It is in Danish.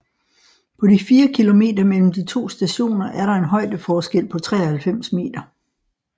På de 4 km mellem de to stationer er der en højdeforskel på 93 meter